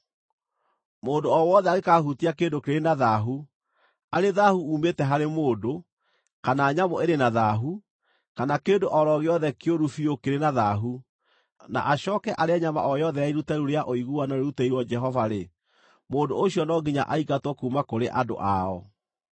Mũndũ o wothe angĩkaahutia kĩndũ kĩrĩ na thaahu, arĩ thaahu uumĩte harĩ mũndũ, kana nyamũ ĩrĩ na thaahu, kana kĩndũ o ro gĩothe kĩũru biũ kĩrĩ na thaahu, na acooke arĩe nyama o yothe ya iruta rĩu rĩa ũiguano rĩrutĩirwo Jehova-rĩ, mũndũ ũcio no nginya aingatwo kuuma kũrĩ andũ ao.’ ”